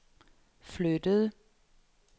flyttede